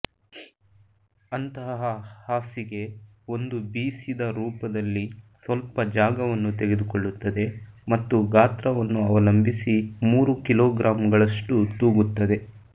ಅಂತಹ ಹಾಸಿಗೆ ಒಂದು ಬೀಸಿದ ರೂಪದಲ್ಲಿ ಸ್ವಲ್ಪ ಜಾಗವನ್ನು ತೆಗೆದುಕೊಳ್ಳುತ್ತದೆ ಮತ್ತು ಗಾತ್ರವನ್ನು ಅವಲಂಬಿಸಿ ಮೂರು ಕಿಲೋಗ್ರಾಂಗಳಷ್ಟು ತೂಗುತ್ತದೆ